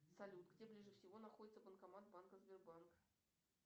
салют где ближе всего находится банкомат банка сбербанк